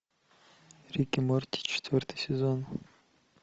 рик и морти четвертый сезон